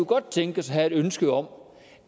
godt tænkes at have et ønske om